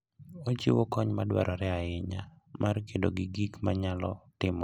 Ochiwo kony madwarore ahinya mar kedo gi gik manyalo timore apoya e kinde mag wuoth.